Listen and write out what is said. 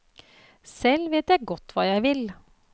Selv vet jeg godt hva jeg vil.